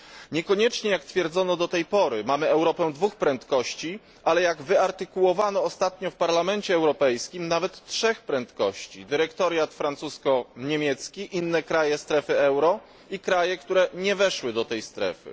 Niekoniecznie, jak twierdzono do tej pory, mamy Europę dwóch prędkości, ale jak wyartykułowano ostatnio w Parlamencie Europejskim nawet trzech prędkości dyrektoriat francusko niemiecki, inne kraje strefy euro i kraje, które nie weszły do tej strefy.